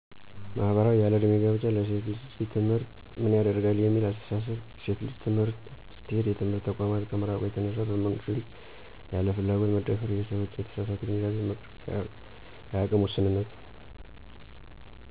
ማህበራዊ :- ያለዕድሜ ጋብቻ፣ ለሴት ልጅ ትምህርት ምን ያደርጋል የሚል አስተሳሰብ፣ ሴት ልጅ ትምህርት ስትሄድ የትምህርት ተቋማት ከመራቁ የተነሳ በወንድ ልጅ ያለ ፍላጎት መደፈር፣ የሰዎች የተሳሳተ ግንዛቤ መኖርፀ፣ የአቅም ውስንነት